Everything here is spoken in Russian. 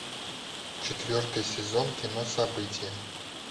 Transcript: четвертый сезон кино событие